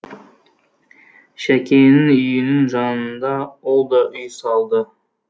шәкеңнің үйінің жанынан ол да үй салды